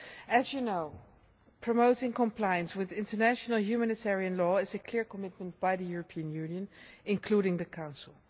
As you know, promoting compliance with international humanitarian law is a clear commitment by the European Union, including the Council.